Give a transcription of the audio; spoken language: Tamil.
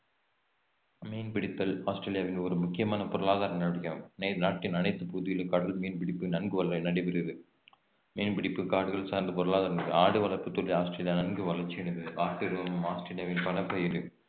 மீன் பிடித்தல் ஆஸ்திரேலியாவின் ஒரு முக்கியமான பொருளாதார நடவடிக்கையாகும் நாட்டின் அனைத்து பகுதிகளிலும் கடல் மீன் பிடிப்பு நன்கு வள~ நடைபெறுகிறது மீன் பிடிப்பு காடுகள் சார்ந்த பொருளாதாரம் ஆடு வளர்ப்புத்துறை ஆஸ்திரேலியா நன்கு வளர்ச்சி அடைந்தது~ ஆட்டு உரோமம் ஆஸ்திரேலியாவின் பணப்பயிர்